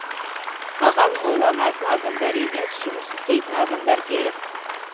маған ойланатын адамдар емес жұмыс істейтін адамдар керек